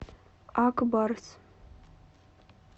ак барс